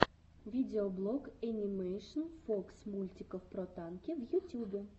видеоблог энимэйшн фокс мультиков про танки в ютюбе